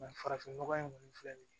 farafin nɔgɔ in kɔni filɛ nin ye